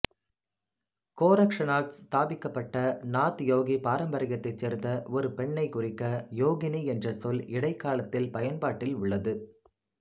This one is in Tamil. கோரக்ஷநாத் ஸ்தாபிக்கப்பட்ட நாத் யோகி பாரம்பரியத்தைச் சேர்ந்த ஒரு பெண்ணைக் குறிக்க யோகினி என்ற சொல் இடைக்காலத்தில் பயன்பாட்டில் உள்ளது